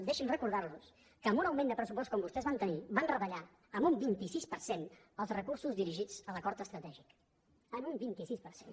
deixin me recordar los que amb un augment de pressupost com el que vostès van tenir van retallar amb un vint sis per cent els recursos dirigits a l’acord estratègic en un vint sis per cent